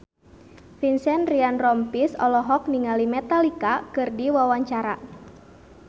Vincent Ryan Rompies olohok ningali Metallica keur diwawancara